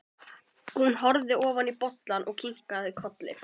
Hún horfði ofan í bollann og kinkaði kolli.